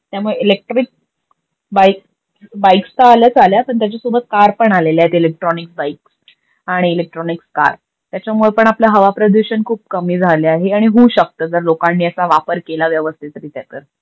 त्यामुळे electric bike बाईक्सत आल्याच आल्या पण त्याच्यासोबत कार पण आलेल्या आहेत इलेक्ट्रोनिक बाईक आणि इलेक्ट्रोनिक्स कार. त्याच्यामुळे पण आपल हवा प्रदूषण खूप कमी झाल आहे आणि होऊ शकत जर लोकांनी याचा वापर केला व्यवस्तीतरित्या तर.